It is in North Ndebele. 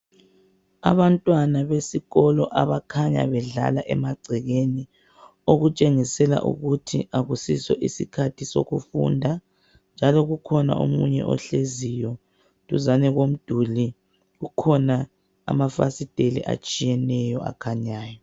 Abantwana besikolo abakhanya bedlala emagcekeni okutshengisela ukuthi akusiso isikhathi sokufunda njalo kukhona omunye ohleziyo duzane komduli kukhona amafasiteli atshiyeneyo akhanyayo.